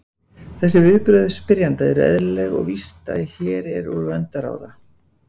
Þessi viðbrögð spyrjanda eru eðlileg og víst er hér úr vöndu að ráða.